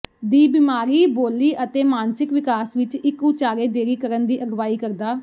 ਦੀ ਬਿਮਾਰੀ ਬੋਲੀ ਅਤੇ ਮਾਨਸਿਕ ਵਿਕਾਸ ਵਿਚ ਇੱਕ ਉਚਾਰੇ ਦੇਰੀ ਕਰਨ ਦੀ ਅਗਵਾਈ ਕਰਦਾ